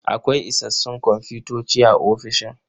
Akwai isassun komfutoci a ofishin.